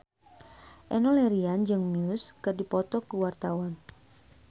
Enno Lerian jeung Muse keur dipoto ku wartawan